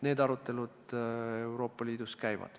Need arutelud Euroopa Liidus käivad.